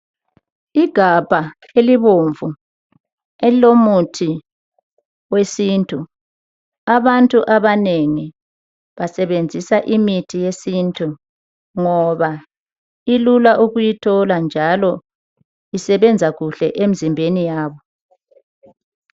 Igabha elibomvu elilomuthi wesintu abantu abanengi basebenzisa imithi yesintu ngoba ilula ukuyithola njalo isebenza kuhle emzimbeni yabo.